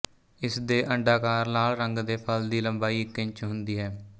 ਇਸ ਦੇ ਅੰਡਾਕਾਰ ਲਾਲ ਰੰਗ ਦੇ ਫਲ ਦੀ ਲੰਬਾਈ ਇੱਕ ਇੰਚ ਹੁੰਦੀ ਹੈ